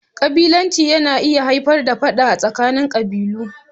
ƙabilanci yana iya haifar da Fada a tsakanin qabilu.